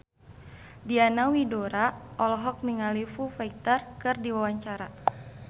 Diana Widoera olohok ningali Foo Fighter keur diwawancara